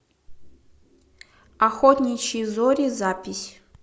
охотничьи зори запись